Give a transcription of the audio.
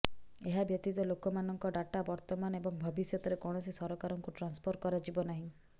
ଏହା ବ୍ୟତୀତ ଲୋକମାନଙ୍କ ଡାଟା ବର୍ତ୍ତମାନ ଏବଂ ଭବିଷ୍ୟତରେ କୌଣସି ସରକାରଙ୍କୁ ଟ୍ରାନ୍ସଫର କରାଯିବ ନାହିଁ